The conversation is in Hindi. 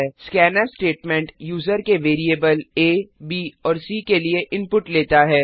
स्कैन्फ स्टेटमेंट यूजर से वेरिएबल आ ब और सी के लिए इनपुट लेता है